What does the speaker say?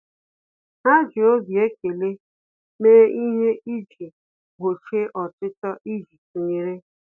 Há jì obi ekele méé ihe iji gbochie ọchịchọ íjí tụnyere.